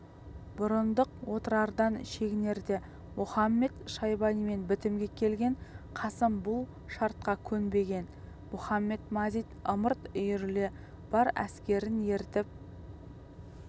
бұрындық отырардан шегінерде мұхамед-шайбанимен бітімге келген қасым бұл шартқа көнбеген мұхамед-мазит ымырт үйіріле бар әскерін ертіп